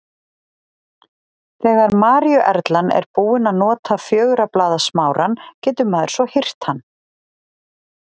Þegar maríuerlan er búin að nota fjögurra blaða smárann getur maður svo hirt hann.